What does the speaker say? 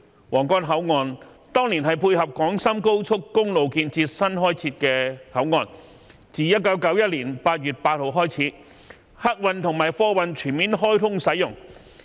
皇崗口岸當年是配合廣深高速公路建設新開設的口岸，自1991年8月8日起，客運和貨運全面開通使用。